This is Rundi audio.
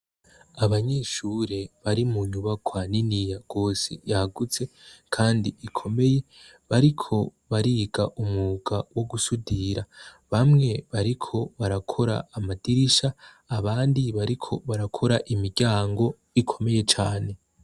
Abanyeshure bari mu nyubakwa niniya gose yagutse kandi ikomeye bariko bariga umwuga wo gusudira, bamwe bariko barakora amadirisha abandi bariko barakora imiryango ikomeye cane.